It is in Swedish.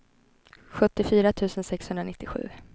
sjuttiofyra tusen sexhundranittiosju